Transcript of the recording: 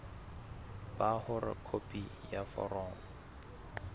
ba hore khopi ya foromo